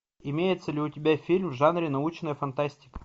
имеется ли у тебя фильм в жанре научная фантастика